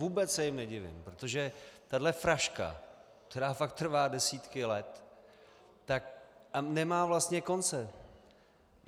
Vůbec se jim nedivím, protože tahle fraška, která fakt trvá desítky let a nemá vlastně konce.